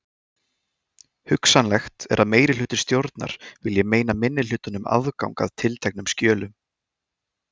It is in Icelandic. Hugsanlegt er að meirihluti stjórnar vilji meina minnihlutanum aðgang að tilteknum skjölum.